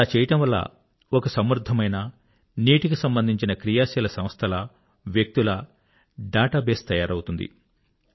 అలా చేయడం వల్ల ఒక సమృద్ధమైన నీటికి సంబంధించిన క్రియాశీల సంస్థల వ్యక్తుల డేటాబేస్ తయారౌతుంది